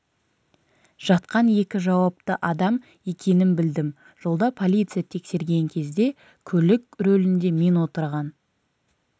жатқан екі жауапты адам екенін білдім жолда полиция тексерген кезде де көлік рөлінде мен отырған